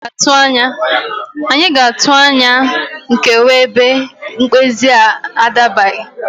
Anyị ga-atụ anya nkewa ebe mkpezi a adabaghị